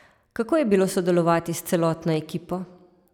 Kako je bilo sodelovati s celotno ekipo?